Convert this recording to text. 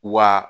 Wa